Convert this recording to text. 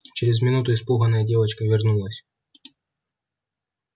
через минуту испуганная девочка вернулась